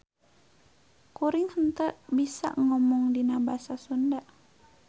Kuring henteu bisa ngomong dina Basa Sunda.